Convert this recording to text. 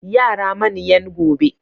Yara manyan gobe.